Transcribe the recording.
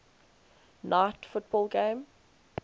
night football game